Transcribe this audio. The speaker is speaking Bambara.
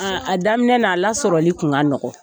A a daminɛ la a lasɔrɔli kun ka nɔkɔ.